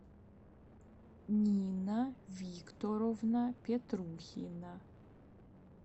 нина викторовна петрухина